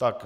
Tak.